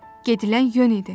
Gedilən yön idi.